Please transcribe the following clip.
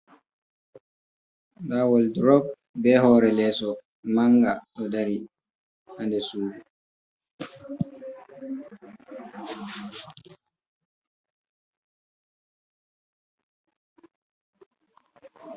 Ndaa woldurop be hoore leeso mannga ɗo dari haa nder suudu.